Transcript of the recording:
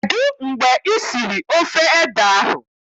Kedụ mgbe I siri ofe ede ahụ?